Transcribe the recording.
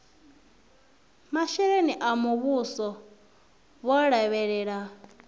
masheleni a muvhuso vho lavhelela